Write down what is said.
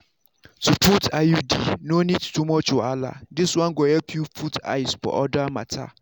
to put iud no need too much wahala this one go help you put eyes for other matter.